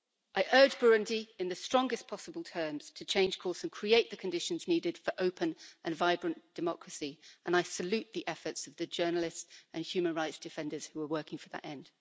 I urge Burundi in the strongest possible terms to change course and create the conditions needed for an open and vibrant democracy and I salute the efforts of the journalists and human rights defenders who are working for that end.